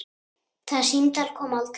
Það símtal kom aldrei.